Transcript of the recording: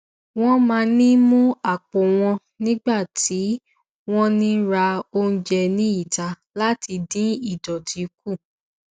wọn máa ń mú àpò wọn nígbà tí wọn ń ra oúnjẹ ní ìta láti dín ìdọtí kù